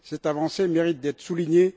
Cette avancée mérite d'être soulignée.